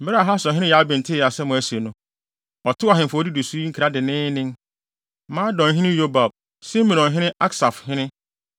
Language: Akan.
Bere a Hasorhene Yabin tee asɛm a asi no, ɔtoo ahemfo a wodidi so yi nkra denneennen: Madonhene Yobab, Simronhene ne Aksafhene;